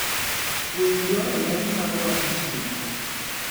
Winy dwaro ler mar wang' chieng'.